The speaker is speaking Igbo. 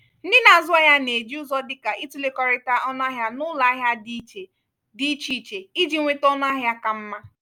ndị na-azụ ahịa na-eji ụzọ dịka itụlekọrịta ọnụahịa n’ụlọ ahịa dị iche dị iche iche iji nweta ọnụahịa ka mma.